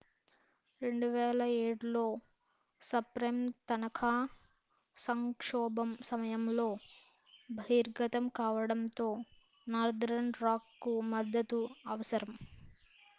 2007 లో సబ్ప్రైమ్ తనఖా సంక్షోభం సమయంలో బహిర్గతం కావడంతో నార్తర్న్ రాక్కు మద్దతు అవసరం